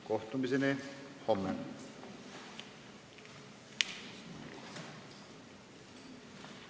Kohtumiseni homme!